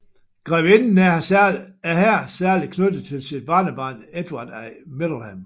Grevinden er her særligt knyttet til sit barnebarn Edvard af Middleham